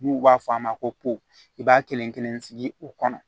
N'u b'a fɔ a ma ko po i b'a kelen kelen sigi o kɔnɔ